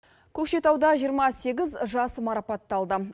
көкшетауда жиырма сегіз жас марапатталды